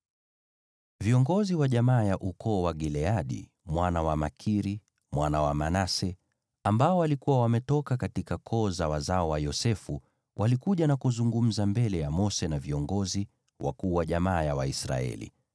Viongozi wa jamaa ya ukoo wa Gileadi mwana wa Makiri, mwana wa Manase, waliokuwa wametoka katika koo za wazao wa Yosefu, walikuja na kuzungumza mbele ya Mose na viongozi, wakuu wa jamaa ya Waisraeli.